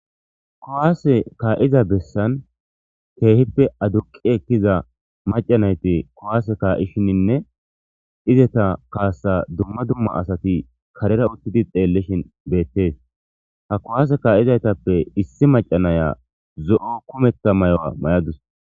kuwaase ka'iza bessan keehippe aduqi ekkiza macanayti kowaase kaa'ishininne izeta kaasa dumma dumma asati karera uttidi xeellishin beettees ha kuwaase ka'izaytappe issi macanaya zo'o kumekka mayuwa mayadus